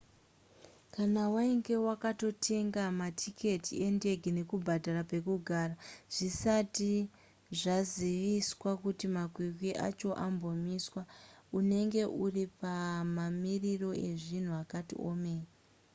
kana wainge wakatotenga matiketi endege nekubhadhara pekugara zvisati zvaziviswa kuti makwikwi acho ambomiswa unenge uri pamamiriro ezvinhu akati omei